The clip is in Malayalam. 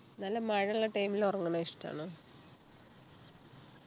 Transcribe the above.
നല്ല മഴയുള്ള time ൽ ഉറങ്ങുന്നത് ഇഷ്ടാണോ